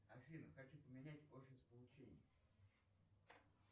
афина хочу поменять офис получения